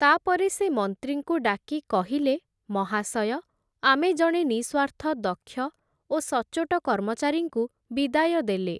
ତା’ପରେ ସେ ମନ୍ତ୍ରୀଙ୍କୁ ଡାକି କହିଲେ, ମହାଶୟ, ଆମେ ଜଣେ ନିଃସ୍ଵାର୍ଥ ଦକ୍ଷ ଓ ସଚ୍ଚୋଟ କର୍ମଚାରୀଙ୍କୁ ବିଦାୟ ଦେଲେ ।